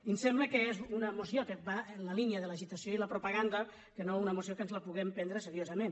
i ens sembla que és una moció que va en la línia de l’agitació i la propaganda i no una moció que ens la puguem pren·dre seriosament